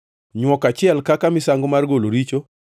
nywok achiel kaka misango mar golo richo;